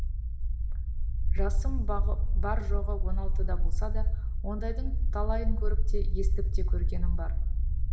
жасым бар жоғы он алтыда болса да ондайдың талайын көріп те естіп те көргенім бар